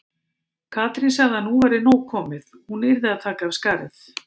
Katrín sagði að nú væri nóg komið, hún yrði að taka af skarið.